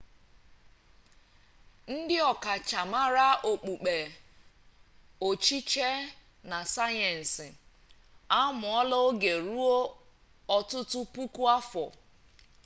ndị ọkachamara okpukpe echiche na sayensị a mụọla oge ruo ọtụtụ puku afọ